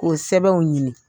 K'o sɛbɛnw ɲini.